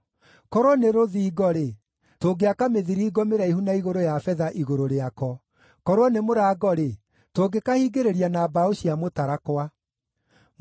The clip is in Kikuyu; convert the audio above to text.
Korwo nĩ rũthingo-rĩ, tũngĩaka mĩthiringo mĩraihu na igũrũ ya betha igũrũ rĩako. Korwo nĩ mũrango-rĩ, tũngĩkahingĩrĩria na mbaũ cia mũtarakwa.